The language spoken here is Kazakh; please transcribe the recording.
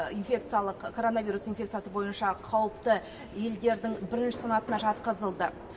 инфекциялық коронавирус инфекциясы бойынша қауіпті елдердің бірінші санатына жатқызылды